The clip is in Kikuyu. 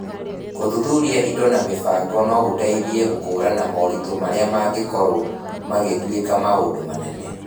Gũthuthuria indo na mĩbango no gũteithie gũkũũrana moritũ marĩa mangĩkorũo magĩtuĩka maũndũ manene.